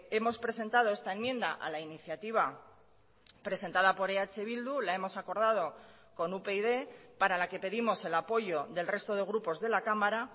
hemos presentado esta enmienda a la iniciativa presentada por eh bildu la hemos acordado con upyd para la que pedimos el apoyo del resto de grupos de la cámara